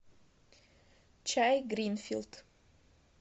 чай гринфилд